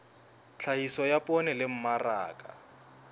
tlhahiso ya poone le mmaraka